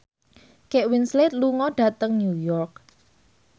Kate Winslet lunga dhateng New York